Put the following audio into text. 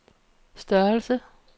størrelse